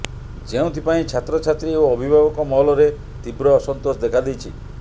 ଯେଉଁଥିପାଇଁ ଛାତ୍ରଛାତ୍ରୀ ଓ ଅଭିଭାବକ ମହଲରେ ତୀବ୍ର ଅସନ୍ତୋଷ ଦେଖାଦେଇଛି